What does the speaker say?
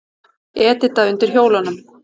Edita undir hjólunum.